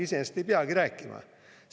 Iseenesest ei peagi rääkima.